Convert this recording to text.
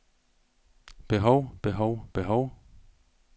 behov behov behov